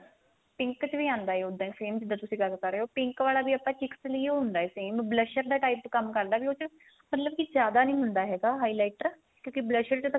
pink ਚ ਵੀ ਆਂਦਾ ਉਦਾ ਹੀ same ਜਿੱਦਾਂ ਤੁਸੀਂ ਗੱਲ ਕ਼ਰ ਰਹੇ ਓ pink ਵਾਲਾ ਵੀ ਆਪਾਂ ਇਹ ਲਈ ਈ ਓ ਹੁੰਦਾ same blusher ਦੇ type ਚ ਕੰਮ ਕਰਦਾ ਵੀ ਉਸ ਚ ਮਤਲਬ ਕੀ ਜਿਆਦਾ ਨੀ ਹੁੰਦਾ ਹੈਗਾ highlighter ਕਿਉਂਕਿ blusher ਚ ਤਾਂ